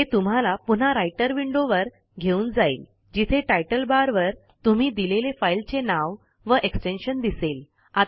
हे तुम्हाला पुन्हा राइटर विंडोवर घेऊन जाईल जिथे टायटल बारवर तुम्ही दिलेले फाईलचे नाव व एक्सटेन्शन दिसेल